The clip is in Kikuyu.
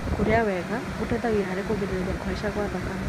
Kũrĩa wega gũteithagia harĩ kũgirĩrĩria kũhaica gwa thakame.